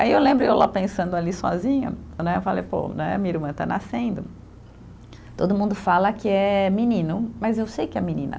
Aí eu lembro eu lá pensando ali sozinha né, eu falei, pô né, minha irmã está nascendo, todo mundo fala que é menino, mas eu sei que é menina.